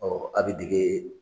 Ɔ a bɛ dege